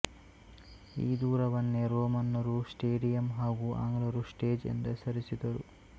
ಈ ದೂರವನ್ನೇ ರೋಮನ್ನರು ಸ್ಟೇಡಿಯಮ್ ಹಾಗೂ ಆಂಗ್ಲರು ಸ್ಟೇಜ್ ಎಂದು ಹೆಸರಿಸಿದರು